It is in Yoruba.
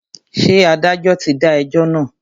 Ṣé adájọ́ ti dá ẹjọ́ náà?